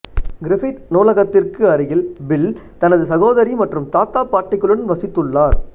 Griffith நூலகத்திற்கு அருகில் Bill தனது சகோதரி மற்றும் தாத்தா பாட்டிகளுடன் வசித்துள்ளார்